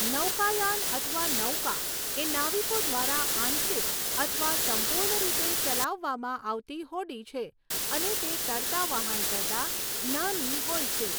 નૌકાયાન અથવા નૌકા એ નાવિકો દ્વારા આંશિક અથવા સંપૂર્ણ રીતે ચલાવવામાં આવતી હોડી છે અને તે તરતા વહાણ કરતા નાની હોય છે.